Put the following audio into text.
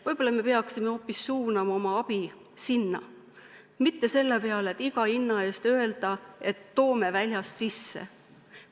Võib-olla peaksime suunama oma abi hoopis sinna, mitte iga hinna eest ütlema, et toome töötajad väljast sisse.